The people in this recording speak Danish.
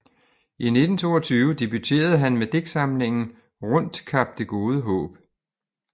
I 1922 debuterede han med digtsamlingen Rundt Kap det gode Haab